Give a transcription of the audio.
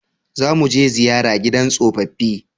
Za mu je ziyara gidan tsofaffi